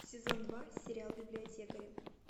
сезон два сериал библиотекари